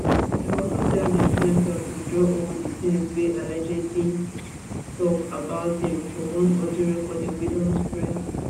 dem also tell di influencer to withdraw all di tins wey allegedly tok about dem for one audio recording wey don spread